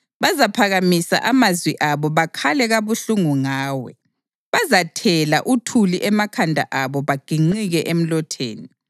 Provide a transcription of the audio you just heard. Bazaphakamisa amazwi abo bakhale kabuhlungu ngawe; bazathela uthuli emakhanda abo bagiqike emlotheni.